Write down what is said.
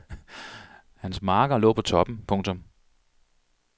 Hans marker lå på toppen. punktum